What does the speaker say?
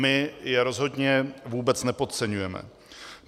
My je rozhodně vůbec nepodceňujeme.